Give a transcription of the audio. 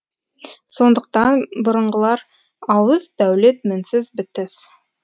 сондықтан бұрынғылар ауыз дәулет мінсіз бітіс